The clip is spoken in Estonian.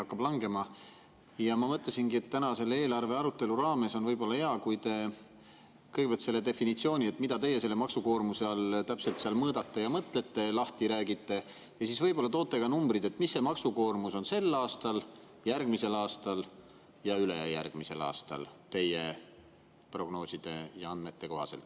Ma mõtlesin, et võib-olla on täna selle eelarve arutelu raames hea, kui te räägite kõigepealt lahti definitsiooni, et mida teie maksukoormusena täpselt mõõdate ja selle all mõtlete, ja siis võib-olla toote ka numbrid, on teie prognooside ja andmete kohaselt maksukoormus sel aastal, järgmisel aastal ja ülejärgmisel aastal.